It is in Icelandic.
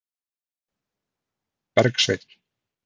Bergsveinn